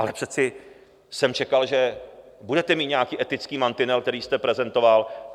Ale přece jsem čekal, že budete mít nějaký etický mantinel, který jste prezentoval.